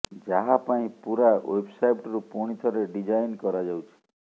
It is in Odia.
ଯାହା ପାଇଁ ପୂରା େଓ୍ବବ୍ସାଇଟ୍କୁ ପୁଣି ଥରେ ଡିଜାଇନ୍ କରାଯାଉଛି